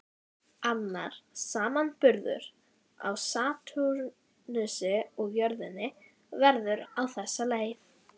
Annar samanburður á Satúrnusi og jörðinni verður á þessa leið